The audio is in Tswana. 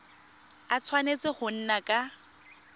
a tshwanetse go nna ka